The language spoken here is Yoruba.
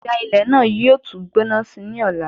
Ìjà ilẹ̀ náà yóò ti gbóná síi ní ọ̀la